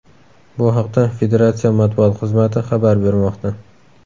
Bu haqda Federatsiya matbuot xizmati xabar bermoqda .